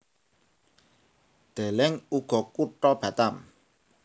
Deleng uga Kutha Batam